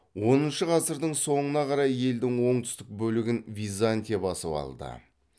оныншы ғасырдың соңына қарай елдің оңтүстік бөлігін византия басып алды